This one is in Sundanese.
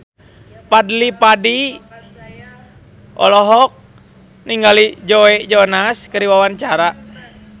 Fadly Padi olohok ningali Joe Jonas keur diwawancara